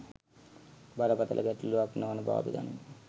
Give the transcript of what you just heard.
බරපතළ ගැටලුවක් නොවන බව අපි දනිමු